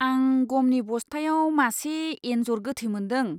आं गमनि बस्थायाव मासे एनजर गोथै मोनदों।